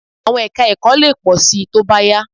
À̀wọn ẹka-ẹ̀kọ́ lè pọ̀ síi tó bá yá